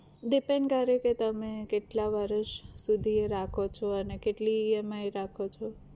depend કરે કે તમે કેટલા વરસ સુધી એ રાખો છો અને કેટલી EMI રાખો છો?